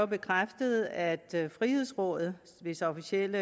bekræftet at frihedsrådet hvis officielle